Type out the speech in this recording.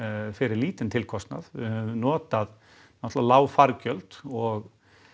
fyrir lítinn tilkostnað við höfum notað náttúrulega lág fargjöld og